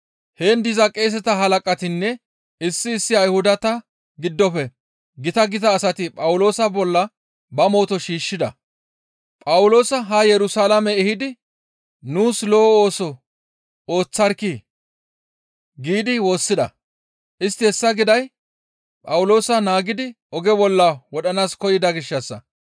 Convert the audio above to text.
Heen diza qeeseta halaqatinne issi issi Ayhudata giddofe gita gita asati Phawuloosa bolla ba mooto shiishshida; «Phawuloosa haa Yerusalaame ehidi, ‹Nuus lo7o ooso ooththarkkii!› » giidi woossida; istti hessa giday Phawuloosa naagidi oge bolla wodhanaas koyida gishshassa.